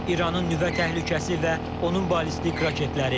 İranın nüvə təhlükəsi və onun ballistik raketləri.